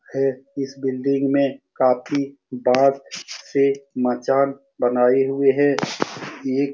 है इस बिल्डिंग में काफी बांस से मचान बनाये हुए हैं ये --